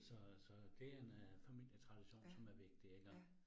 Så så det en øh familietradition, som er vigtig iggå